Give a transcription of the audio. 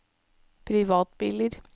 privatbiler